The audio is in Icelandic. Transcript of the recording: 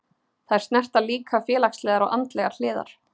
Þær snerta líka félagslegar og andlegar hliðar.